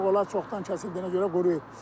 Artıq onlar çoxdan kəsildiyinə görə quruyub.